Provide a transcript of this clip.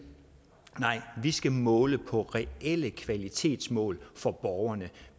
nej vi skal måle på reelle kvalitetsmål for borgerne